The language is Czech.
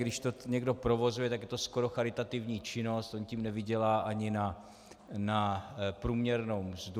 Když to někdo provozuje, tak je to skoro charitativní činnost, on tím nevydělá ani na průměrnou mzdu.